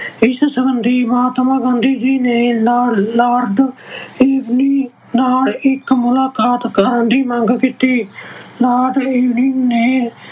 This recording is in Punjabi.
ਇਸ ਸਬੰਧੀ ਮਹਾਤਮਾ ਗਾਂਧੀ ਜੀ ਨੇ Lord ਅਹ Lord Irwin ਨਾਲ ਇੱਕ ਮੁਲਾਕਾਤ ਕਰਨ ਦੀ ਮੰਗ ਕੀਤੀ। Lord Irwin ਨੇ